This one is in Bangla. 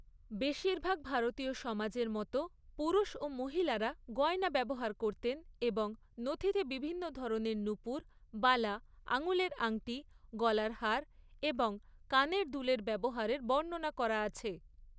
বেশিরভাগ ভারতীয় সমাজের মতো, পুরুষ ও মহিলারা গয়না ব্যবহার করতেন এবং নথিতে বিভিন্ন ধরনের নূপুর, বালা, আঙুলের আংটি, গলার হার এবং কানের দুলের ব্যবহারের বর্ণনা করা আছে।